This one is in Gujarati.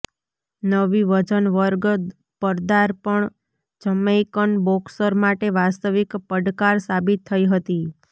નવી વજન વર્ગ પદાર્પણ જમૈકન બોક્સર માટે વાસ્તવિક પડકાર સાબિત થઈ હતી